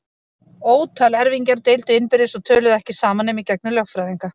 Ótal erfingjar deildu innbyrðis og töluðu ekki saman nema í gegnum lögfræðinga.